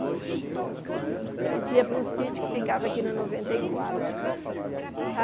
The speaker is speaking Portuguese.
A gente ia para o sítio que ficava aqui no noventa e quatro.